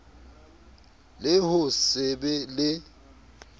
le ho se be le